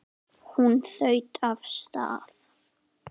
Hún þaut af stað.